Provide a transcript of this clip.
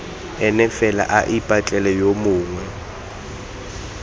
ene fela ipatlele yo mongwe